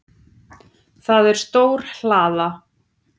Það er stór hlaða.